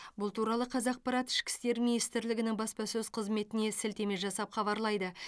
бұл туралы қазақпарат ішкі істер министрлігінің баспасөз қызметіне сілтеме жасап хабарлайды